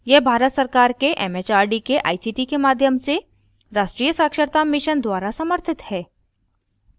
यह भारत सरकार के एमएचआरडी के आईसीटी के माध्यम से राष्ट्रीय साक्षरता mission द्वारा समर्थित है